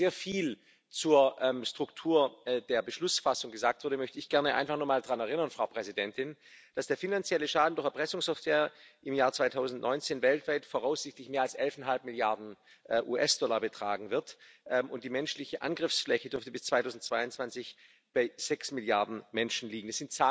Nachdem schon sehr viel zur Struktur der Beschlussfassung gesagt wurde, möchte ich gerne einfach nochmal daran erinnern, dass der finanzielle Schaden durch Erpressungssoftware im Jahr 2019 weltweit voraussichtlich mehr als 11,5 Milliarden US-Dollar betragen wird, und die menschliche Angriffsfläche dürfte bis 2022 bei sechs Milliarden Menschen liegen.